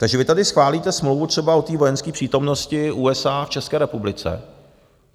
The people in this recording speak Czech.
Takže vy tady schválíte smlouvu třeba o té vojenské přítomnosti USA v České republice.